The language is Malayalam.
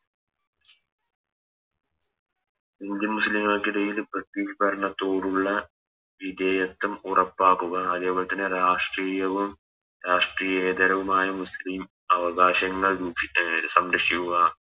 Indian മുസ്ലിങ്ങൾക്ക്ടയിൽ ബ്രിട്ടീഷ് ഭരണത്തോടുള്ള വിതേയത്വം ഉറപ്പാക്കുക അതേപോലെതന്നെ രാഷ്ട്രീയവും രാഷ്ട്രീയെതരവുമായ മുസ്ലിം അവകാശങ്ങൾ രു അഹ് സംരക്ഷിക്കുക